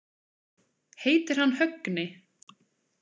Heitir hann Högni?